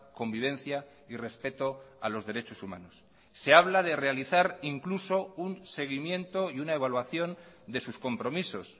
convivencia y respeto a los derechos humanos se habla de realizar incluso un seguimiento y una evaluación de sus compromisos